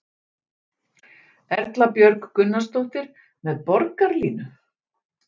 Erla Björg Gunnarsdóttir: Með Borgarlínu?